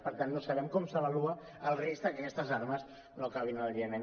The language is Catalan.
per tant no sabem com s’avalua el risc de que aquestes armes no acabin al iemen